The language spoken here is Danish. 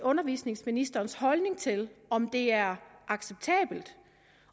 undervisningsministerens holdning til om det er acceptabelt og